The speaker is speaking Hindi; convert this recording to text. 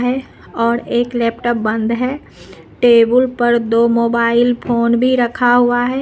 और एक लैपटॉप बंद है टेबुल पर दो मोबाइल फोन भी रखा हुआ है।